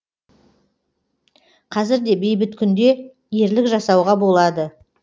қазір де бейбіт күнде ерлік жасауға болады